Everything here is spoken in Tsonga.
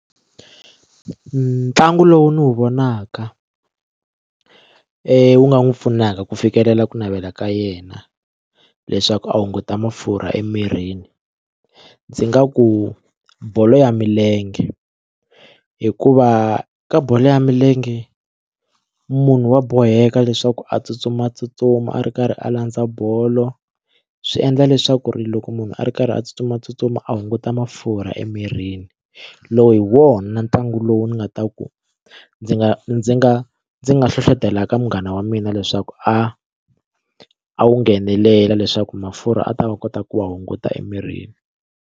Ntlangu lowu ni wu vonaka wu nga n'wi pfunaka ku fikelela ku navela ka yena leswaku a hunguta mafurha emirini ndzi nga ku bolo ya milenge hikuva ka bolo ya milenge munhu wa boheka leswaku a tsutsumatsutsuma a ri karhi a landza bolo swi endla leswaku ri loko munhu a ri karhi a tsutsumatsutsuma a hunguta mafurha emirini loko hi wona ntlangu lowu ni nga ta ku ndzi nga ndzi nga ndzi nga hlohlotela ka munghana wa mina leswaku a a wu nghenelela leswaku mafurha a ta kota ku wa hunguta emirini.